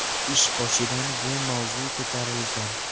Ish boshidan bu mavzu ko‘tarilgan.